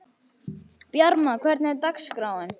Bjarma, hvernig er dagskráin?